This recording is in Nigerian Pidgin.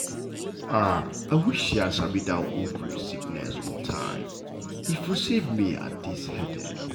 ah i wish say i sabi that ovary sickness on time e for save me att dis headache.